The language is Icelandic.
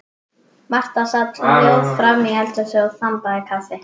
Marta sat hljóð framí eldhúsi og þambaði kaffi.